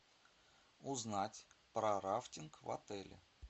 узнать про рафтинг в отеле